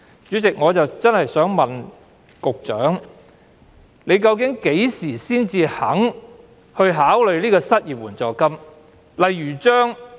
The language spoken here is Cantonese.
主席，我想問局長，究竟何時才肯考慮推出失業援助金？